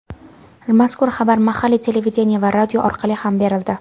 Mazkur xabar mahalliy televideniye va radio orqali ham berildi.